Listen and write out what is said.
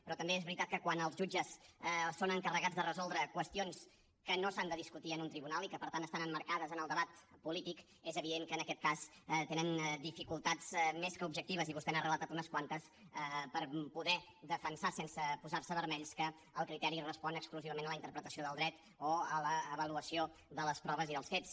però també és veritat que quan els jutges són encarregats de resoldre qüestions que no s’han de discutir en un tribunal i que per tant estan emmarcades en el debat polític és evident que en aquest cas tenen dificultats més que objectives i vostè n’ha relatat unes quantes per poder defensar sense posar se vermells que el criteri respon exclusivament a la interpretació del dret o a l’avaluació de les proves i dels fets